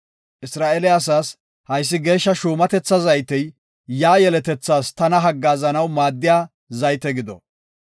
Isra7eele asaas, ‘Haysi Geeshsha shuumatetha zaytey yaa yeletethaas tana haggaazanaw maaddiya zayte gido.